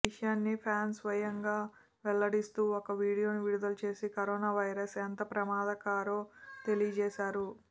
ఈ విషయాన్ని ఫ్యాన్ స్వయంగా వెల్లడిస్తూ ఓ వీడియోను విడుదల చేసి కరోనా వైరస్ ఎంత ప్రమాదకారో తెలియజేశారు